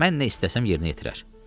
Mən nə istəsəm yerinə yetirər.